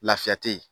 Lafiya te yen